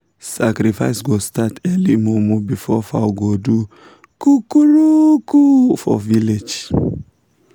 sacrifice go start early momo before fowl go do coo-coo-roo-coo for village.